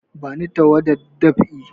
Bani tawadar dab'i!